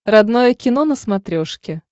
родное кино на смотрешке